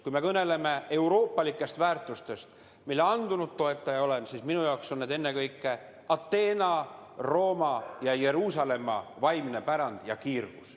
Kui me kõneleme euroopalikest väärtustest, mille andunud toetaja ma olen, siis minu jaoks on need ennekõike Ateena, Rooma ja Jeruusalemma vaimne pärand ja kiirgus.